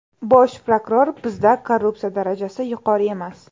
Bosh prokuror: Bizda korrupsiya darajasi yuqori emas.